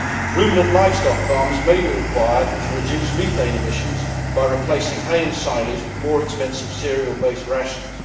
Ruminant livestock farmers may be required to reduce methane emissions by replacing hay and silage with more expensive cereal based rations.